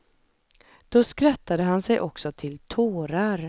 Då skrattade han sig också till tårar.